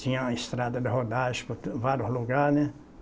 Tinha estrada de rodagem por tu vários lugares, né?